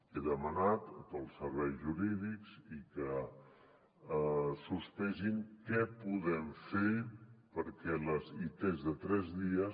he demanat a tots els serveis jurídics que sospesin què podem fer perquè les its de tres dies